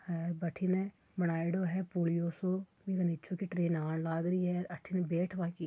अ बठिं ने बनायोडो है पुलियो सो बीके निचे के ट्रेन आण लागरी है। अठीने बैठ बा की--